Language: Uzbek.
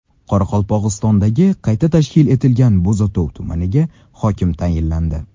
Qoraqalpog‘istondagi qayta tashkil etilgan Bo‘zatov tumaniga hokim tayinlandi.